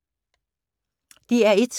DR1